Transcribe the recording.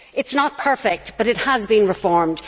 The CAP is not perfect, but it has been reformed.